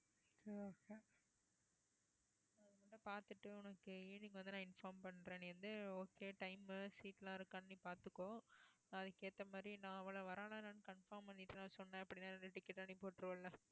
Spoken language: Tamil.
okay evening வந்து நான் inform பண்றேன் நீ வந்து okaytime உ seat எல்லாம் இருக்கான்னு நீ பார்த்துக்கோ அதுக்கு ஏத்த மாதிரி நான் அவளை வர்றாளா என்னென்னு confirm பண்ணிட்டு நான் சொன்னேன் அப்படின்னா ரெண்டு ticket நீ போட்டிருவல்ல